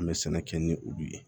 An bɛ sɛnɛ kɛ ni olu ye